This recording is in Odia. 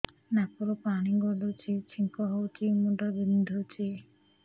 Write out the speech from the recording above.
ନାକରୁ ପାଣି ଗଡୁଛି ଛିଙ୍କ ହଉଚି ମୁଣ୍ଡ ବିନ୍ଧୁଛି